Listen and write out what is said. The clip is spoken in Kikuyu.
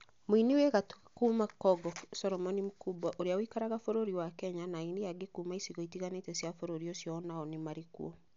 Mũni wi gatũ kuma Kongo Coromoni Mkubwa, ũrĩa ũikaraga bũrũri wa Kenya, na aini angĩ a kuuma icigo itiganĩte cia bũrũri ũcio o nao nĩ marĩ kuo.